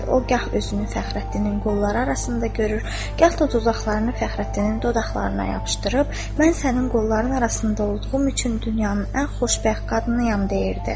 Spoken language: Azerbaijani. O gah özünü Fəxrəddinin qolları arasında görür, gah da dodaqlarını Fəxrəddinin dodaqlarına yapışdırıb, mən sənin qolların arasında olduğum üçün dünyanın ən xoşbəxt qadınıyam deyirdi.